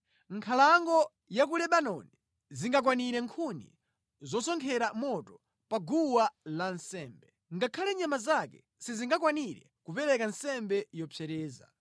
Nkhalango ya ku Lebanoni singakwanire nkhuni zosonkhera moto pa guwa lansembe, ngakhale nyama zake sizingakwanire kupereka nsembe zopsereza.